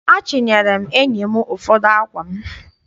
Achịnyere m enyi m ụfọdụ ákwà m.